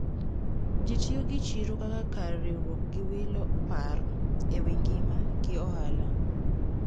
Ji tiyo gi chiro kaka kar riwruok gi wilo paro ewi ngima gi ohala.